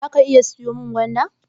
Zaka iya siyo min gwanda?